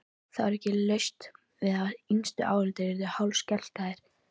Það var ekki laust við að yngstu áhorfendurnir yrðu hálfskelkaðir.